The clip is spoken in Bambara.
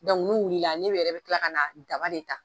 n'u wulila ne yɛrɛ bɛ tila ka na daba de ta.